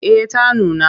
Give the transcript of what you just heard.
Eh ta nuna.